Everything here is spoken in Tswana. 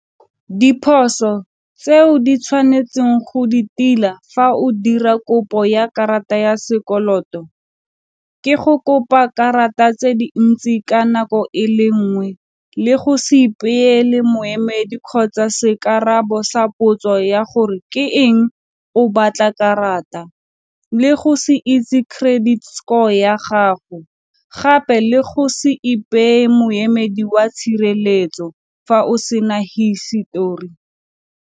Diphoso tseo di tshwanetseng go di tila fa o dira kopo ya karata ya sekoloto ke go kopa karata tse dintsi ka nako e le nngwe le go se ipeele moemedi kgotsa sa potso ya gore ke eng o batla karata le go se itse credit score ya gago, gape le go se ipeye moemedi wa tshireletso fa o se na hisetori.